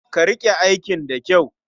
Ka riƙe aikin da kyau.